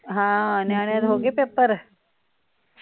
ਹਾਂ ਨਿਆਣਿਆਂ ਦੇ ਹੋਗੇ ਪੇਪਰ?